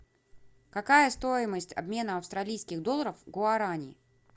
какая стоимость обмена австралийских долларов в гуарани